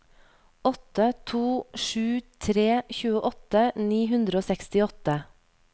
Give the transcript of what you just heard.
åtte to sju tre tjueåtte ni hundre og sekstiåtte